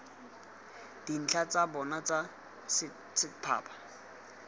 dintlha tsa bona tsa setphaba